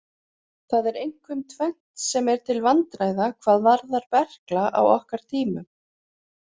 Það er einkum tvennt sem er til vandræða hvað varðar berkla á okkar tímum.